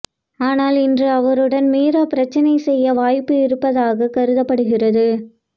ஆனால் இன்று அவருடன் மீரா பிரச்சனை செய்ய வாய்ப்பு இருப்பதாக கருதப்படுகிறது